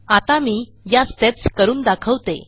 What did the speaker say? आता मी या स्टेप्स करून दाखवते